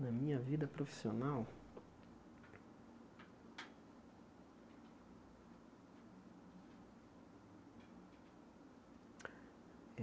Na minha vida profissional?